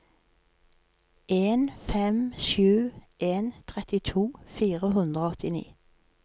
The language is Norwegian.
en fem sju en trettito fire hundre og åttini